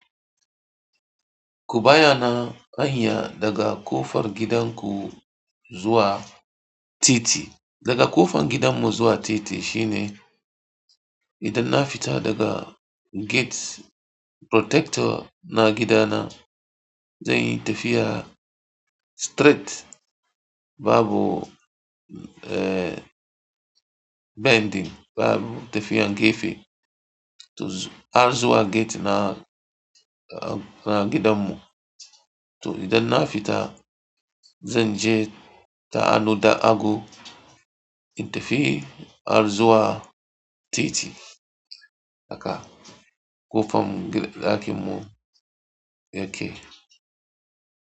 Kubayana kwanya daga kofar gidanku zuwa titi, daga kofan gidan mu zuwa titi shine idan na fita daga gate protector na gida na, zan yi tafiya straight babu, eh, bending babu tafiya gefe to har zuwa gate na, gidanmu. To idan na fita, zan je ta anoda ago in tafi har zuwa titi daka ƙofam-ɗakinmu yake.